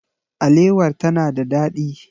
Alewar ta na da ɗadi.